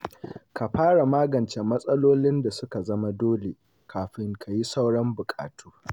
Ka fara magance matsalolin da su ka zama dole kafin ka yi sauran buƙatu.